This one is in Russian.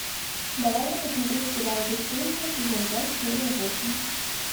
давай я посмотрю сериал бесстыжие сезон пять серия восемь